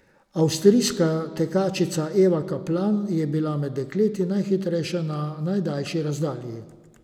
Avstrijska tekačica Eva Kaplan je bila med dekleti najhitrejša na najdaljši razdalji.